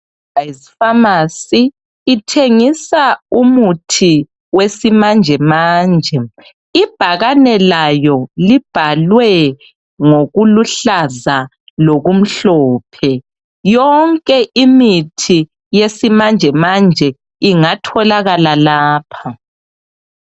IFamasi ithengisa umuthi wesimanjemanje ibhakani layo libhalwe ngokuluhlaza lokumhlophe yonke imithi yesimanjemanje ingatholakala lapha